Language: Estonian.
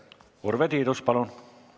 Urve Tiidus, palun!